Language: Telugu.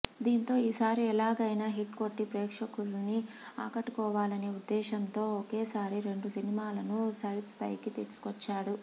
దీంతో ఈసారి ఎలాగైనా హిట్ కొట్టి ప్రేక్షలకును ఆకట్టుకోవాలనే ఉద్దేశ్యం తో ఒకేసారి రెండు సినిమాలను సెట్స్ ఫైకి తీసుకొచ్చాడు